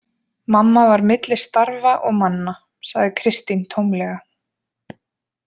Mamma var milli starfa og manna, sagði Kristín tómlega.